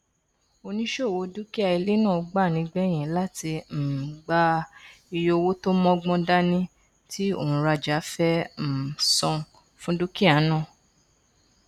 oníṣòwò dúkìá ilé náà gbà nígbẹyìn láti um gba iye owó tó mọgbọn dání tí ònrajà fẹ um san fún dúkìá náà